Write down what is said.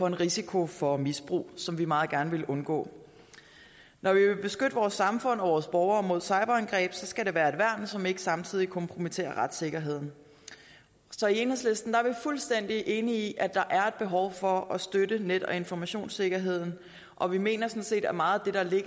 en risiko for misbrug som vi meget gerne vil undgå når vi vil beskytte vores samfund og vores borgere mod cyberangreb skal det være et værn som ikke samtidig kompromitterer retssikkerheden så i enhedslisten er vi fuldstændig enige i at der er et behov for at støtte net og informationssikkerheden og vi mener sådan set at meget af det